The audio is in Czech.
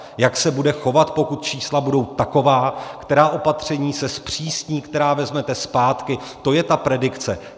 Jak se bude chovat, pokud čísla budou taková, která opatření se zpřísní, která vezmete zpátky, to je ta predikce.